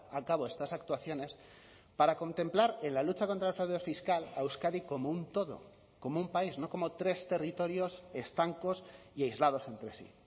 a cabo estas actuaciones para contemplar en la lucha contra el fraude fiscal a euskadi como un todo como un país no como tres territorios estancos y aislados entre sí